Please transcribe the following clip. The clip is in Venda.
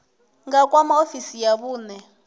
nga kwama ofisi ya vhune